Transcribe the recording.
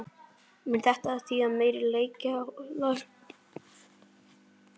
Mun þetta þýða meira leikjaálag?